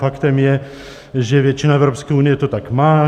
Faktem je, že většina Evropské unie to tak má.